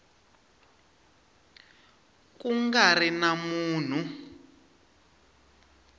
ku nga ri na munhu